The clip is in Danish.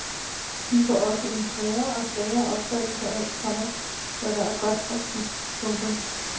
De får også en svagere og svagere opfattelse af, komma hvad der er godt og skidt. punktum